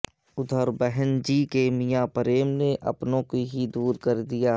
ادھر بہن جی کے میاں پریم نے اپنوں کو ہی دور کردیا